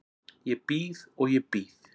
Ég bíð og ég bíð.